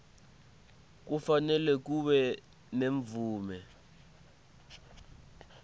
kufanele kube nemvume